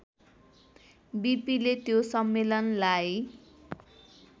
बिपिले त्यो सम्मेलनलाई